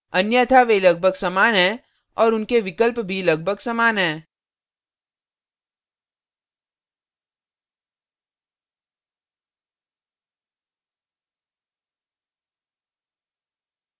अन्यथा वे लगभग समान हैं और उनके विकल्प भी लगभग समान हैं